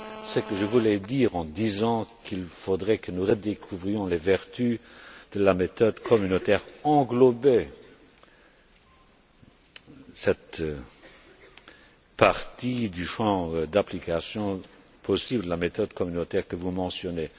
Ce que je voulais dire en disant qu'il faudrait que nous redécouvrions les vertus de la méthode communautaire englobait cette partie du champ d'application possible la méthode communautaire que vous mentionnez.